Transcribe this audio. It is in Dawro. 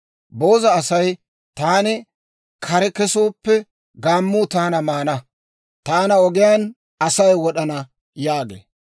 Booza asay, «Taani kare kesooppe, gaammuu taana maana; taana ogiyaan Asay wod'ana» yaagee.